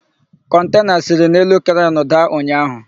Kọntena siri n'elu krenu daa ụnyaahụ.